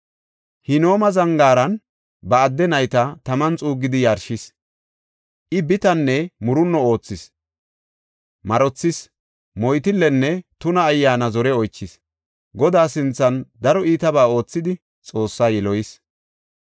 Hinooma Zangaaran ba adde nayta taman xuuggidi yarshis. I bitanne murunno oothis; marothis; moytillenne tuna ayyaana zore oychis. Godaa sinthan daro iitabaa oothidi Xoossaa yiloyis.